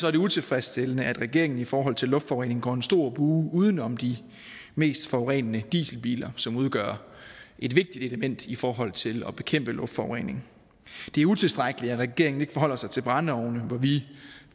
er det utilfredsstillende at regeringen i forhold til luftforureningen går en stor bue uden om de mest forurenende dieselbiler som udgør et vigtigt element i forhold til at bekæmpe luftforurening det er utilstrækkeligt at regeringen ikke forholder sig til brændeovne hvor vi